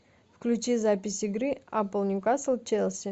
включи запись игры апл ньюкасл челси